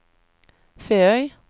Feøy